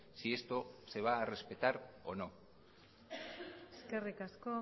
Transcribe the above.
si esto se va a respetar o no eskerrik asko